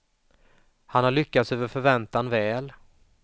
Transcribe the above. Han har lyckats över förväntan väl.